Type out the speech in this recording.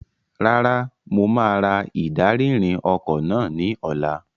Rárá, mo máa ra ìdarí-ìrìn ọkọ̀ náà ní ọ̀la.